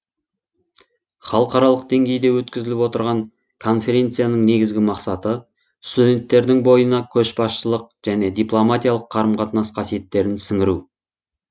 халықаралық деңгейде өткізіліп отырған конференцияның негізгі мақсаты студенттердің бойына көшбасшылық және дипломатиялық қарым қатынас қасиеттерін сіңіру